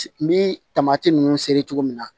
N bi taamasi nunnu seri cogo min na